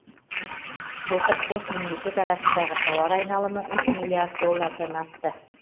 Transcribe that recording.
былтыр қос мемлекет арасындағы тауар айналымы үш миллиард доллардан асты